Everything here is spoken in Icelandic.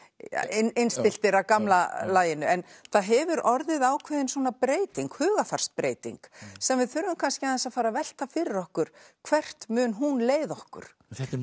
innstilltir af gamla laginu en það hefur orðið ákveðin breyting hugarfarsbreyting sem við þurfum kannski aðeins að fara að velta fyrir okkur hvert mun hún leiða okkur